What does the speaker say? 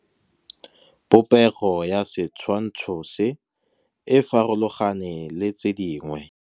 Popêgo ya setshwantshô se, e farologane le tse dingwe.